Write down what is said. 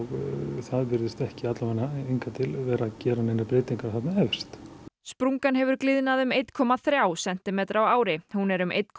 það virðist ekki vera að gera neinar breytingar þarna efst sprungan hefur gliðnað um einn komma þrjá sentimetra á ári hún er um einn komma